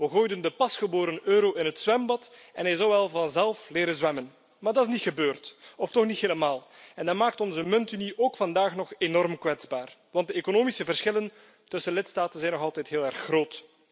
We gooiden de pasgeboren euro in het zwembad en hij zal wel vanzelf leren zwemmen, maar dat is niet gebeurd, of toch niet helemaal, en dat maakt onze muntunie ook vandaag nog enorm kwetsbaar, want de economische verschillen tussen lidstaten zijn nog altijd heel erg groot.